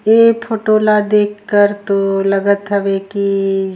ए photo ला तो देख के लगत हे की--